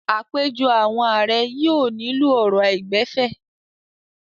Àpèjọ àwọn ààrẹ yóò nílò ọ̀rọ̀ àìgbẹ̀fẹ̀.